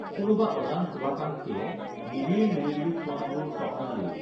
কোনোবা অজান শুভাকাঙ্খীয়ে নিবিড় নিৰিবিলি ক্ষণবোৰ স্বপ্নালীৰ